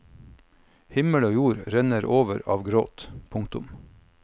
Himmel og jord renner over av gråt. punktum